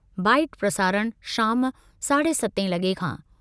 --Bite-- प्रसारणः– शाम– साढे सतें लॻे खां।